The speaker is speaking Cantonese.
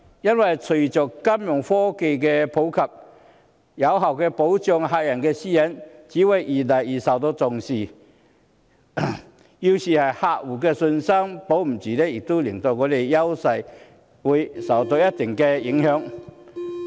因為隨着金融科技日漸普及，有效保障客戶的私隱越來越受重視，要是客戶失去信心，便會令香港的優勢受到一定的影響。